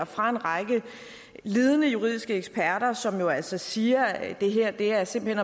fra en række ledende juridiske eksperter som jo altså siger at det her simpelt